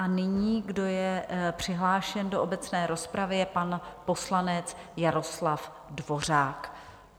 A nyní, kdo je přihlášen do obecné rozpravy, je pan poslanec Jaroslav Dvořák.